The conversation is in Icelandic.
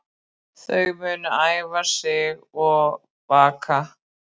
Þau munu æfa sig og baka